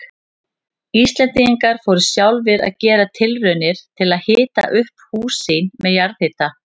Íslendingar fóru sjálfir að gera tilraunir til að hita upp hús sín með jarðhita.